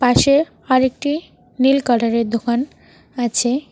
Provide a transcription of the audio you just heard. পাশে আরেকটি নীল কালারের দোকান আছে।